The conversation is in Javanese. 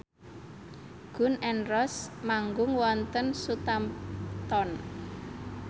Gun n Roses manggung wonten Southampton